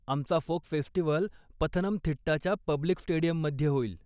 आमचं folk festival पथनमथिट्टाच्या public स्टेडीयममध्ये होईल.